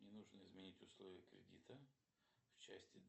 мне нужно изменить условия кредита в части